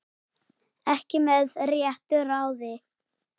Ekki með réttu ráði?